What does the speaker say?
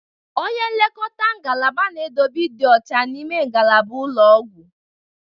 Onye nlekọta ngalaba na-edobe ịdị ọcha n'ime ngalaba ụlọ ọgwụ.